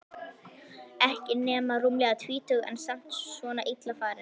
Ekki nema rúmlega tvítug en samt svona illa farin.